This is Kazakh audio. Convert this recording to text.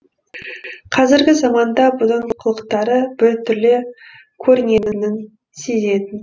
қазіргі заманда бұның қылықтары біртүрлі көрінетінін сезетін